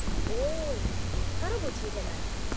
ଓଃ, ଏଥର ବୁଝିହେଲା